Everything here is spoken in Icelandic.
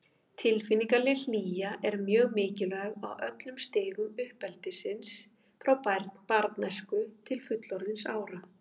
Tilfinningaleg hlýja er mjög mikilvæg á öllum stigum uppeldisins, frá barnæsku til fullorðinsára.